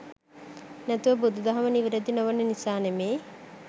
නැතුව බුදු දහම නිවැරදි නොවන නිසා නෙමෙයි.